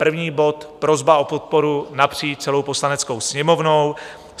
První bod: prosba o podporu napříč celou Poslaneckou sněmovnou.